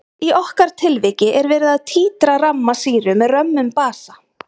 Í okkar tilviki er verið að títra ramma sýru með römmum basa.